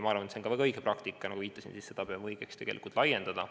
Ma arvan, et see on väga õige praktika, ja nagu viitasin, peame õigeks seda tegelikult laiendada.